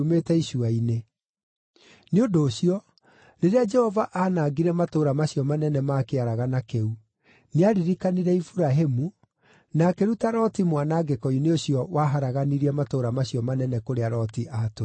Nĩ ũndũ ũcio, rĩrĩa Jehova aanangire matũũra macio manene ma kĩaragana kĩu, nĩaririkanire Iburahĩmu, na akĩruta Loti mwanangĩko-inĩ ũcio waharaganirie matũũra macio manene kũrĩa Loti atũire.